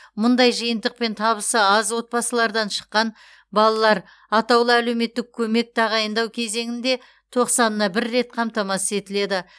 мұндай жиынтықпен табысы аз отбасылардан шыққан балалар атаулы әлеуметтік көмек тағайындау кезеңінде тоқсанына бір рет қамтамасыз етіледі